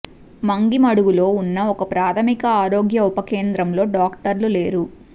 ముంగిమడుగులో ఉన్న ఒక ప్రాథమిక ఆరోగ్య ఉప కేంద్రంలో డాక్టర్లు లేరు